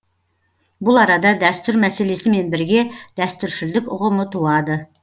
бұл арада дәстүр мәселесімен бірге дәстүршілдік ұғымы туады